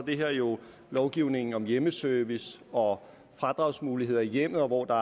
det her jo lovgivningen om hjemmeservice og fradragsmuligheder i hjemmet hvor der